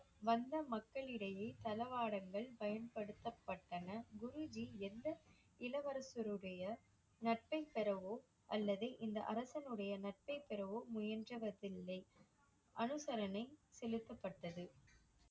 வந்த மக்களிடையே தளவாடங்கள் பயன்படுத்தப்பட்டன. குரு ஜி எந்த இளவரசருடைய நட்பைப் பெறவோ அல்லது இந்த அரசனுடைய நட்பைப் பெறவோ இல்லை. அனுசரணை செலுத்தப்பட்டது.